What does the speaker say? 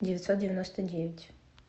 девятьсот девяносто девять